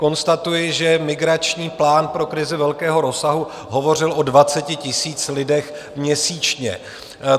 Konstatuji, že migrační plán pro krizi velkého rozsahu hovořil o 20 000 lidech měsíčně.